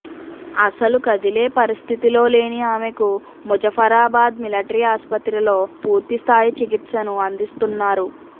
అస్సలు కదిలే పరిస్థితిలో లేని ఆమెకు ముజఫరాబాద్ మిలటరీ ఆసుపత్రిలో పూర్తి స్థాయి చికిత్సను అందిస్తున్నారు